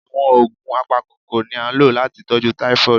Àwọn oògùn apakokoro ni a lo láti tọjú typhoid